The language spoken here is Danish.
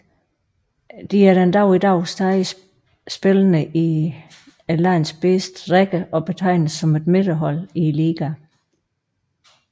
De er den dag i dag stadig spillende i landets bedste række og betegnes som et midterhold i ligaen